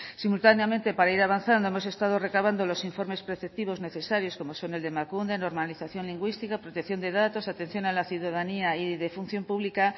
simultáneamente para ir avanzando hemos estado recabando los informes preceptivos necesarios como son el de emakunde normalización lingüística protección de datos atención a la ciudadanía y de función pública